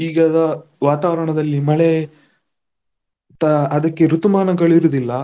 ಈಗದ ವಾತಾವರಣದಲ್ಲಿ ಮಳೆ ಅದಕ್ಕೆ ಋತುಮಾನಗಳು ಇರುದಿಲ್ಲ.